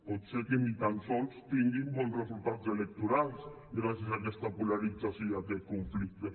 pot ser que ni tan sols tinguin bons resultats electorals gràcies a aquesta polarització i a aquest conflicte